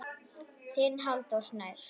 Þinn Halldór Snær.